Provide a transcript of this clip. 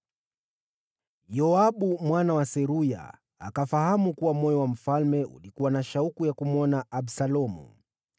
Yoabu mwana wa Seruya akafahamu kuwa moyo wa mfalme ulikuwa na shauku ya kumwona Absalomu.